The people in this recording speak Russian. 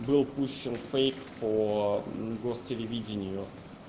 был пущен фейк по гостелевидению